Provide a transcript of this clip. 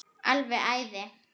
Alveg æði.